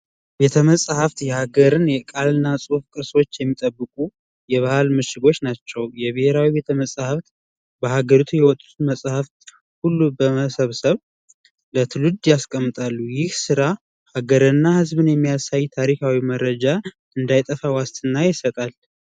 ቤተ መጻህፍት የሀገርንና የቃልና የጽሑፍ ቅርሶችን የሚጠብቁ የባህል ምሽጎች ናቸው። የብሄራዊ ቤተመጻህፍት በሃገሪቱ የሚገኙ መጻህፎችን በመሰብሰብ ያስቀምጣል። ይህ ስራ ሃገርና ህዝብን የሚያሳይ ታሪካዊ መረጃ እንዳይጠፋ ዋስትና ይሰጣል።